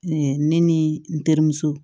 ne ni n terimuso